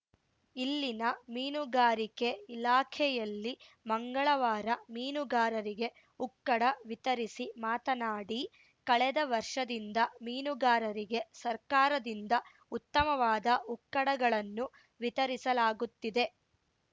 ಇಲ್ಲಿನ ಮೀನುಗಾರಿಕೆ ಇಲಾಖೆಯಲ್ಲಿ ಮಂಗಳವಾರ ಮೀನುಗಾರರಿಗೆ ಉಕ್ಕಡ ವಿತರಿಸಿ ಮಾತನಾಡಿ ಕಳೆದ ವರ್ಷದಿಂದ ಮೀನುಗಾರರಿಗೆ ಸರ್ಕಾರದಿಂದ ಉತ್ತಮವಾದ ಉಕ್ಕಡಗಳನ್ನು ವಿತರಿಸಲಾಗುತ್ತಿದೆ